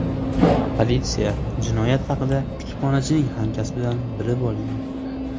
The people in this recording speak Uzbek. Politsiya jinoyat haqida kutubxonachining hamkasbidan bilib olgan.